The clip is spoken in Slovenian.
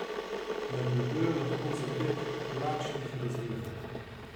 Napredujejo lahko za pet plačnih razredov.